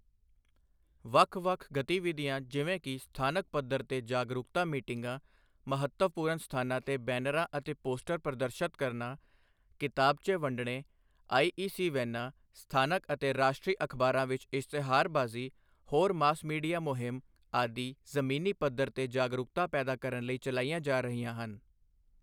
ਵੱਖ ਵੱਖ ਗਤੀਵਿਧੀਆਂ ਜਿਵੇਂ ਕਿ ਸਥਾਨਕ ਪੱਧਰ ਤੇ ਜਾਗਰੂਕਤਾ ਮੀਟਿੰਗਾਂ, ਮਹੱਤਵਪੂਰਨ ਸਥਾਨਾਂ ਤੇ ਬੈਨਰਾਂ ਅਤੇ ਪੋਸਟਰ ਪ੍ਰਦਰਸ਼ਤ ਕਰਨਾ, ਕਿਤਾਬਚੇ ਵੰਡਣੇ, ਆਈਈਸੀ ਵੈਨਾਂ, ਸਥਾਨਕ ਅਤੇ ਰਾਸ਼ਟਰੀ ਅਖ਼ਬਾਰਾਂ ਵਿੱਚ ਇਸ਼ਤਿਹਾਰਬਾਜ਼ੀ, ਹੋਰ ਮਾਸ ਮੀਡੀਆ ਮੁਹਿੰਮ ਆਦਿ ਜ਼ਮੀਨੀ ਪੱਧਰ ਤੇ ਜਾਗਰੂਕਤਾ ਪੈਦਾ ਕਰਨ ਲਈ ਚਲਾਈਆਂ ਜਾ ਰਹੀਆਂ ਹਨ।